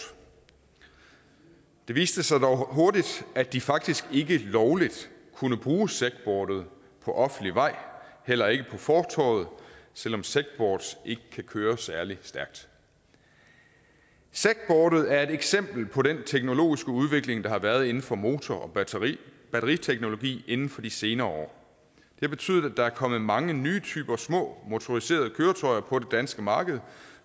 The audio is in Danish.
det viste sig dog hurtigt at de faktisk ikke lovligt kunne bruge segboardet på offentlig vej og heller ikke på fortovet selv om segboards ikke kan køre særlig stærkt segboardet er et eksempel på den teknologiske udvikling der har været inden for motor og batteriteknologi inden for de senere år det betyder at der er kommet mange nye typer små motoriserede køretøjer på det danske marked